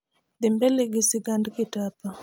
dhi mbele fi sigand kitapa